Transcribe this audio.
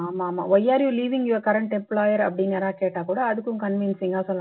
ஆமா ஆமா why are you leaving you current employer அப்படின்னு யாராது கேட்டா கூட அதுக்கும் convincing ஆ சொல்லணும்